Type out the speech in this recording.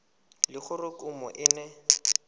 le gore kumo e ne